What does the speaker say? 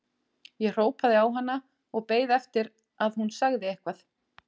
Ég hrópaði á hana og beið eftir að hún segði eitthvað.